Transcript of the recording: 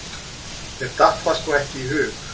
Mér datt það sko ekki í hug!